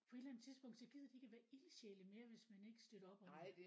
På et eller andet tidspunkt så gider de ikke at være ildsjæle mere hvis man ikke støtter op om det